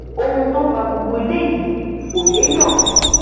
ohun tó fa gbogbo eléyìí kò yéèyàn